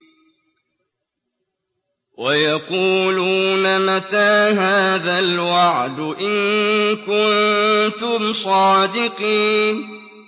وَيَقُولُونَ مَتَىٰ هَٰذَا الْوَعْدُ إِن كُنتُمْ صَادِقِينَ